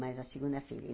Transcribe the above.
Mas a segunda filha.